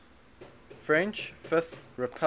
french fifth republic